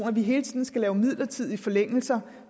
er ministeren